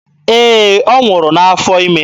Ee, ọ nwụrụ n'afọ ime.